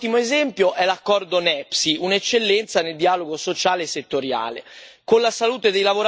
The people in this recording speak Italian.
Con la salute dei lavoratori non si scherza e dunque continueremo a fare la nostra parte come Parlamento europeo.